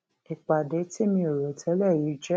ìpàdé tí mi ò rò télè yìí jé